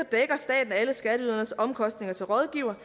dækker staten alle skatteyderens omkostninger til rådgiver